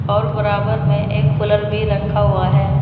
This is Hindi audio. और बराबर में एक कूलर भी रखा हुआ है।